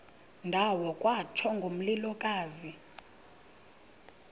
ndawo kwatsho ngomlilokazi